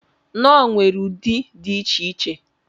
Knorr nwere ụdị dị iche iche.